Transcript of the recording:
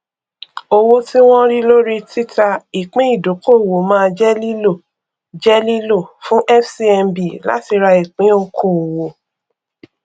owó tí wọn rí lórí títà ìpín ìdókòwò máa jẹ lílò jẹ lílò fún fcmb láti ra ìpín òkòòwò